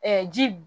ji